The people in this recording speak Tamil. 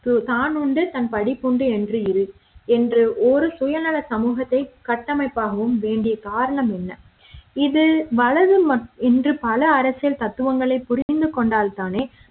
தான் உண்டு தன் படிப்பு உண்டு என்று இரு என்று ஒரு சுயநல சமூகத்தை கட்டமைப்பாகும் வேண்டிய காரணம் என்ன இது வளரும் என்று பல அரசியல் தத்துவங்களை புரிந்து கொண்டால்தானே